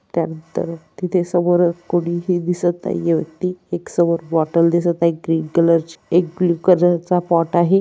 त्यानंतर तिथे समोरच कोणीही दिसत नहिये व्यक्ति एक समोर बॉटल दिसत आहे ग्रीन कलर ची एक ग्रीन कलरचा पॉट आहे.